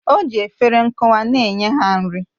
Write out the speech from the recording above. O ji efere nkwụwa na-enye ha nri